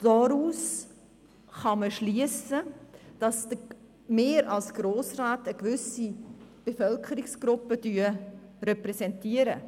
Daraus lässt sich schliessen, dass wir als Grossräte eine gewisse Bevölkerungsgruppe repräsentieren.